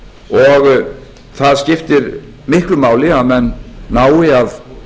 og það skiptir miklu máli að menn nái að